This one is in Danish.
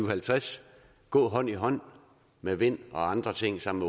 og halvtreds gå hånd i hånd med vind og andre ting sammen